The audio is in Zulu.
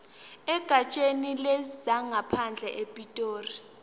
egatsheni lezangaphandle epitoli